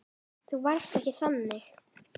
Þú varst ekki þannig.